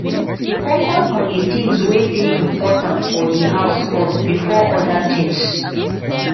focus on di things wey dey important for di house first before oda things